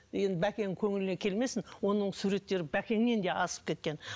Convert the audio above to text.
енді бәкеңнің көңіліне келмесін оның суреттері бәкеңнен де асып кеткен